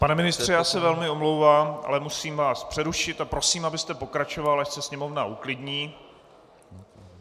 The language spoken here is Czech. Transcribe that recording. Pane ministře, já se velmi omlouvám, ale musím vás přerušit a prosím, abyste pokračoval až se sněmovna uklidní.